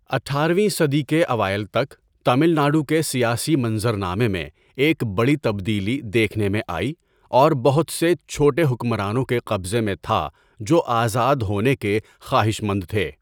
اٹھارہ ویں صدی کے اوائل تک، تامل ناڈو کے سیاسی منظر نامے میں ایک بڑی تبدیلی دیکھنے میں آئی اور بہت سے چھوٹے حکمرانوں کے قبضے میں تھا جو آزاد ہونے کے خواہشمند تھے۔